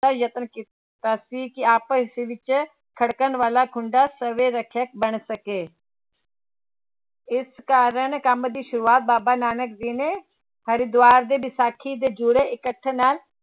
ਦਾ ਯਤਨ ਕੀਤਾ ਸੀ ਕਿ ਆਪਸ ਵਿੱਚ ਖੜਕਣ ਵਾਲਾ ਖੁੰਡਾ ਸਵੈ ਰੱਖਿਅਕ ਬਣ ਸਕੇ ਇਸ ਕਾਰਨ ਕੰਮ ਦੀ ਸ਼ੁਰੂਆਤ ਬਾਬਾ ਨਾਨਕ ਜੀ ਨੇ ਹਰਿਦੁਆਰ ਦੇ ਵਿਸਾਖੀ ਦੇ ਜੁੜੇ ਇਕੱਠ ਨਾਲ